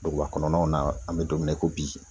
Duguba kɔnɔnaw na an bɛ don min na i ko bi.